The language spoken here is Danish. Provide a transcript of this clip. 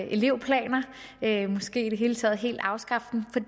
elevplaner måske i det hele taget helt afskaffe dem for